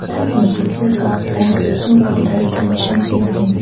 Ame higu ka post blue colour kenshen hyu bin.